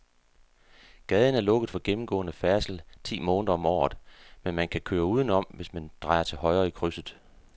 Gaden er lukket for gennemgående færdsel ti måneder om året, men man kan køre udenom, hvis man drejer til højre i krydset.